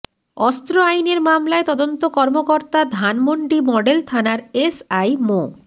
অস্ত্র আইনের মামলায় তদন্ত কর্মকর্তা ধানমন্ডি মডেল থানার এসআই মো